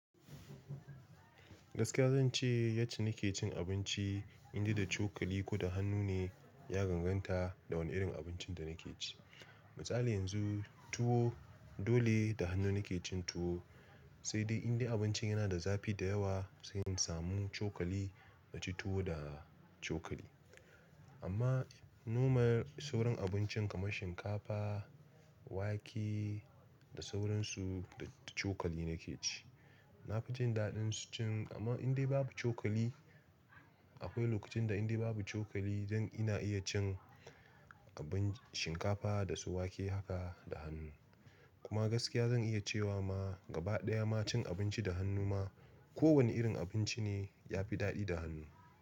Gaskiya zan ce yace nake cin abinci, inda da cokali ko da hannu ne ya ganganta da wane irin abincin da nake ci. Misali yanzu tuwo dole da hannu nake cin tuwo, sai dai inda abincin yana da zafi da yawa, sai in samu cokali na ci tuwo da cokali. Amma normal sauran abincin kamar shinkafa, wake da sauransu da cokali nake ci. Na fi jin daɗin cin amma indai babu cokali. Akwai lokacin da indai babu cokali don ina iya cin abin shinkafa da su wake haka da hannu. Kuma gaskiya zan iya cewa ma gaba ɗaya ma cin abinci da hannu ma, kowane irin abinci ne ya fi daɗi da hannu.